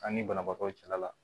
An ni banabaatɔw cɛla la